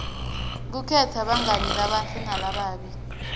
kukhetsa bangani labahle nalababi